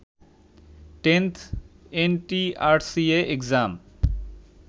10th ntrca exam